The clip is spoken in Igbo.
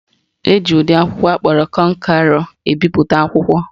Eji ụdị akwụkwọ akpọrọ kọnkerọ ebipụta akwụkwọ.